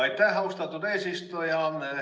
Aitäh, austatud eesistuja!